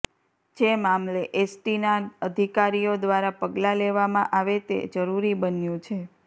જે મામલે એસ ટીના અધિકારીઓ દ્રારા પગલા લેવામાં આવે તે જરૂરી બન્યુ છે